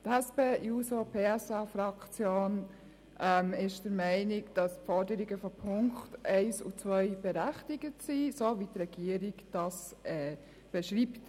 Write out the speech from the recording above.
Die SP-JUSO-PSA-Fraktion ist der Meinung, dass die Forderungen der Punkte 1 und 2 berechtigt sind, so wie die Regierung dies beschreibt.